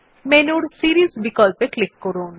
মেনুর সিরিস বিকল্পে ক্লিক করুন